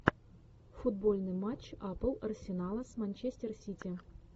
футбольный матч апл арсенала с манчестер сити